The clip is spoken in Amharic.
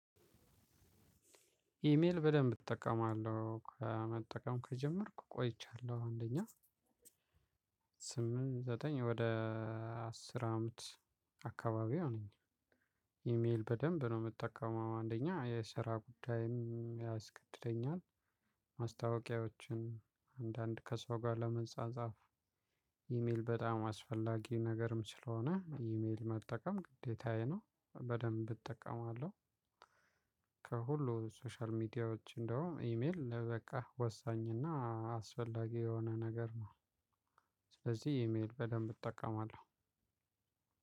ኢሜል በደንብ እጠቀማለሁ ከመጠቀም ከጀመርኩ ቆይቻለሁ አንደኛ ስምንት ዘጠኝ ወደ አስር አመት አካባቢው ይሆነኛል። ኢሜል በደንብ ነው እምጠቀመው አንደኛ የስራ ጉዳይም ያስገድደኛል። ማስታወቂያዎችን አንዳንድ ከሰው ጋር ለመጻጻፍ። ኢሜል በጣም አስፈላጊ ነገርም ስለሆነ ኢሜል መጠቀም ግዴታዬ ነው በደንብ እጠቀማለሁ። ከሁሉ ሶሻል ሚዲያዎች እንደውም ኢሜል በቃ ወሳኝ እና አስፈላጊ የሆነ ነገር ነው። ስለዚህ ኢሜል በደንብ እጠቀማለሁ።